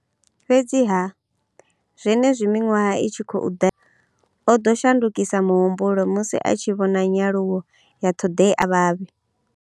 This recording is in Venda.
Fhedziha, zwenezwi miṅwaha i tshi khou ḓa, o ḓo shandukisa muhumbulo musi a tshi vhona nyaluwo ya ṱhoḓea ya vhavhe.